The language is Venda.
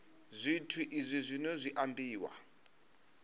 zwithu izwi zwino zwi ambiwa